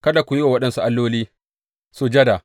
Kada ku yi wa waɗansu alloli sujada.